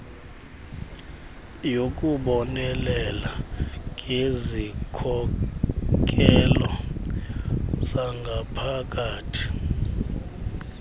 yokubonelela ngezikhokelo zangaphakathi